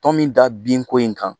Tɔmi da binko in kan